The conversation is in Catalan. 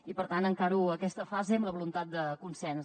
i per tant encaro aquesta fase amb la voluntat de consens